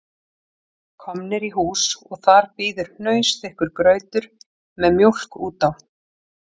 Komnir í hús og þar bíður hnausþykkur grautur með mjólk út á